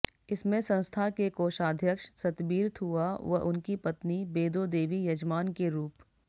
इसमें संस्था के कोषाध्यक्ष सतबीर थुआ व उनकी पत्नी बेदो देवी यजमान के रूप